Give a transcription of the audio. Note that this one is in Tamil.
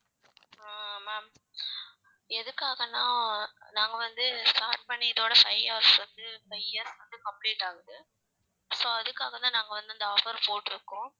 ஆஹ் ma'am எதுக்காகனா நாங்க வந்து start பண்ணி இதோட five years வந்து five years வந்து complete ஆகுது so அதுகாக தான் நாங்க வந்து இந்த offer போட்டிருக்கோம்